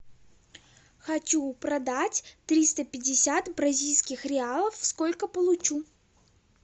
хочу продать триста пятьдесят бразильских реалов сколько получу